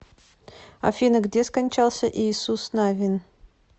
афина где скончался иисус навин